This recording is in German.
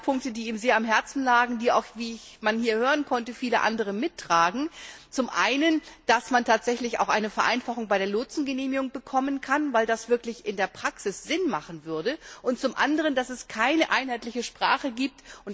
Zwei Punkte, die ihm sehr am Herzen lagen, die, wie man hier hören konnte, auch viele andere mittragen, sind zum einen, dass man tatsächlich auch eine Vereinfachung bei der Lotsengenehmigung erreichen sollte, weil das in der Praxis wirklich Sinn machen würde, und zum anderen, dass es keine einheitliche Sprache gibt.